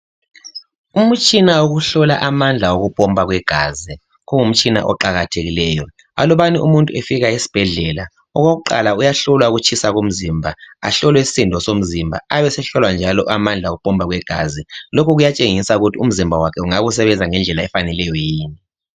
Umutshina wokuhlola amandla wokupopa kwegazi kungumtshina oqakathekileyo alubana umuntu efika esibhedlela okokuqala uyahlolwa ukutshisa komzimba ahlolwe isisindo somzimba abesehlolwa njalo amandla okupopa kwegazi lokhu kuyatshengisa ukuthi umzimba wakhe ungabe usebenzisa ngendlela efaneleyo yini.